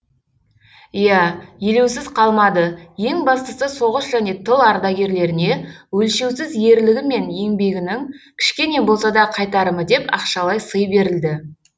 иә елеусіз қалмады ең бастысы соғыс және тыл ардагерлеріне өлшеусіз ерлігі мен еңбегінің кішкене болса да қайтарымы деп ақшалай сый берілді